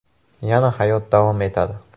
Yana hayot davom etadi.